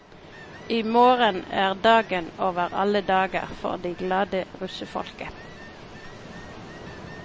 I morgen er dagen over alle dager for det glade russefolket.